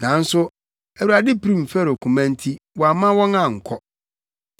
Nanso Awurade pirim Farao koma nti wamma wɔn ankɔ.